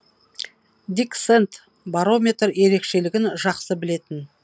дик сэнд барометр ерекшелігін жақсы білетін